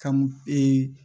Ka m e